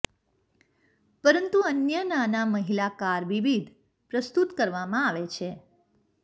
પરંતુ અન્ય નાના મહિલા કાર વિવિધ પ્રસ્તુત કરવામાં આવે છે